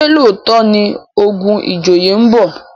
ṣe looto ní ogun ìjòyè nbọ?